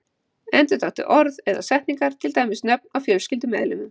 Endurtaktu orð eða setningar, til dæmis nöfn á fjölskyldumeðlimum.